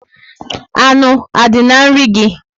Anụ a dị na nri gị?